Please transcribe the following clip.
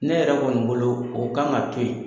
Ne yɛrɛ kɔni bolo, o kan ka to yen.